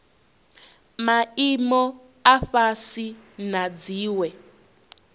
maimo a fhasi na dziwe